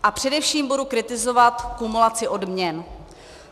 A především budu kritizovat kumulaci odměn.